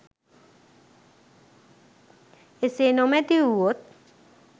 එසේ නොමැති වු වොත්